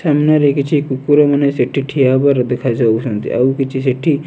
ସାମ୍ନାରେ କିଛି କୁକୁରମାନେ ସେଠି ଠିଆହେବାର ଦେଖାଯାଉଚନ୍ତି ଆଉ କିଛି ସେଠି --